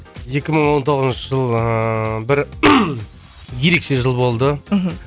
екі мың он тоғызыншы жыл ыыы бір ерекше жыл болды мхм